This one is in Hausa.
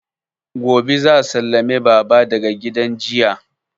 Gobe za a sallame baba daga gidan jiya